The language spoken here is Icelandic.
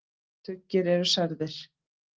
Tugir eru særðir.